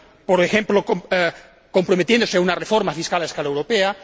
por ejemplo, comprometiéndose a una reforma fiscal a escala europea